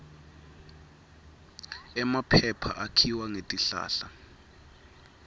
emaphepha akhiwa ngetihlahla